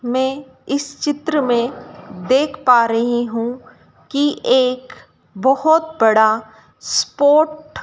मैं इस चित्र में देख पा रही हूं कि एक बहोत बड़ा स्पोर्ट --